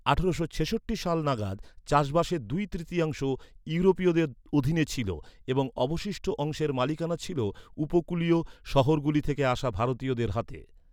আঠারো ছেষট্টি সাল নাগাদ চাষবাসের দুই তৃতীয়াংশ ইউরোপীয়দের অধীনে ছিল এবং অবশিষ্ট অংশের মালিকানা ছিল উপকূলীয় শহরগুলি থেকে আসা ভারতীয়দের হাতে।